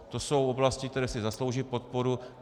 To jsou oblasti, které si zaslouží podporu.